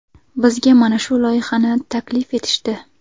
Bizga mana shu loyihani taklif etishdi.